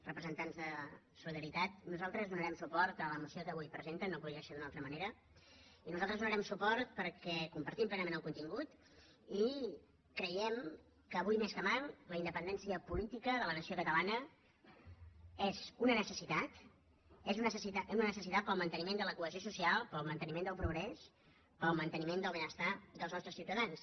representants de solidaritat nosaltres donarem suport a la moció que avui presenten no podia ser d’una altra manera i nosaltres hi donarem suport perquè compartim plenament el contingut i creiem que avui més que mai la independència política de la nació catalana és una necessitat és una necessitat per al manteniment de la cohesió social per al manteniment del progrés per al manteniment del benestar dels nostres ciutadans